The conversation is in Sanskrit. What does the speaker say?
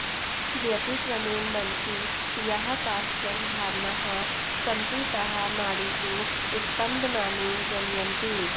व्यतिक्रमेण मनसि याः काश्चन भावनाः सन्ति ताः नाडीषु स्पन्दनानि जनयन्ति